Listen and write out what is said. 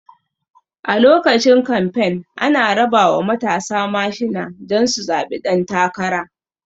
A lokacin kamfen ana rabawa matasa mashina don su zaɓi ɗan takara